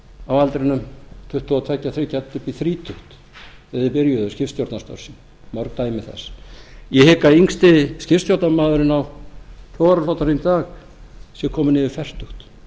á aldrinum tuttugu og tveggja tuttugu og þriggja upp í þrítugt þegar þeir byrjuðu skipstjórnarstörf sín mörg dæmi þess ég hygg að yngsti skipstjórnarmaðurinn á togaraflotanum í dag sé kominn yfir fertugt